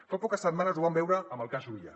fa poques setmanes ho vam veure amb el cas juvillà